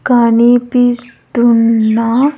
కనిపిస్తున్న--